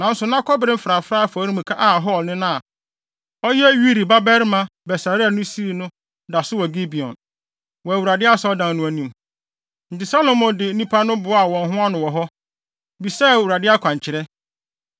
Nanso na kɔbere mfrafrae afɔremuka a Hur nena a ɔyɛ Uri babarima Besaleel sii no da so wɔ Gibeon, wɔ Awurade Asɔredan no anim. Enti Salomo ne nnipa no boaa wɔn ho ano wɔ hɔ, bisaa Awurade akwankyerɛ.